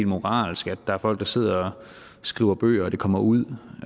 moralsk at der er folk der sidder og skriver bøger og at bøgerne kommer ud